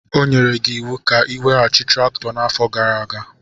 O nyere gị iwu ka ị weghachi traktọ n'afọ gara aga.